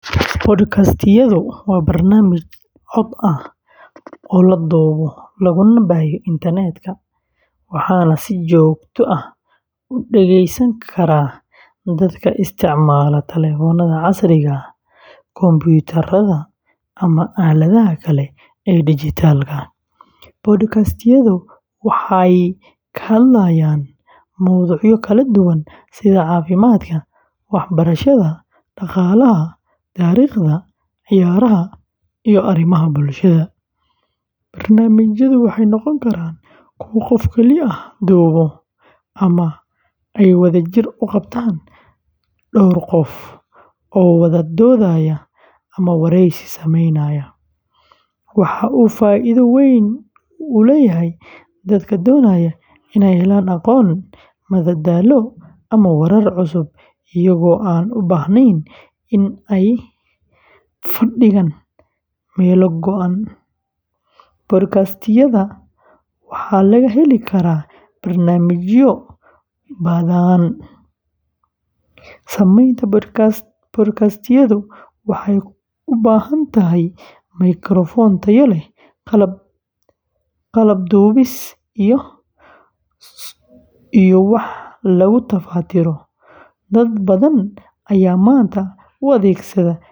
Podcast-yadu waa barnaamij cod ah oo la duubo laguna baahiyo internet-ka, waxaana si joogto ah u dhegeysan kara dadka isticmaala taleefannada casriga ah, kumbuyuutarrada, ama aaladaha kale ee dijitaalka ah. Podcast-yadu waxay ka hadlayaan mowduucyo kala duwan sida caafimaadka, waxbarashada, dhaqaalaha, taariikhda, ciyaaraha, iyo arrimaha bulshada. Barnaamijyadu waxay noqon karaan kuwo qof keli ah duubo ama ay wadajir u qabtaan dhowr qof oo wada doodaya ama wareysi sameynaya. Waxa uu faa’iido weyn u leeyahay dadka doonaya inay helaan aqoon, madadaalo, ama warar cusub iyagoo aan u baahnayn in ay fadhigaan meel go’an. Podcast-yada waxaa laga heli karaa barnaamijyo badan. Samaynta podcast-yada waxay u baahan tahay mikrafoon tayo leh, qalab duubis, iyo wax lagu tafatiro. Dad badan ayaa maanta u adeegsada.